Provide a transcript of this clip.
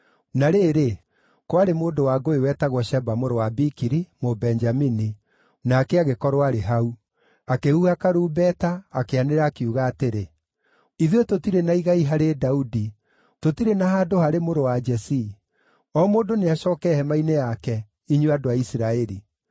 Na rĩrĩ, kwarĩ mũndũ wa ngũĩ wetagwo Sheba mũrũ wa Bikiri, Mũbenjamini, nake agĩkorwo aarĩ hau. Akĩhuha karumbeta, akĩanĩrĩra, akiuga atĩrĩ, “Ithuĩ tũtirĩ na igai harĩ Daudi, tũtirĩ na handũ harĩ mũrũ wa Jesii! O mũndũ nĩacooke hema-inĩ yake, inyuĩ andũ a Isiraeli!”